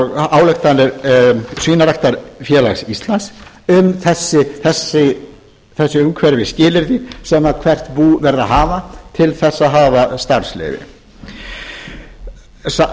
ályktanir svínaræktarfélags íslands um þessi umhverfisskilyrði sem hvert bú verði að hafa til þess að hafa starfsleyfi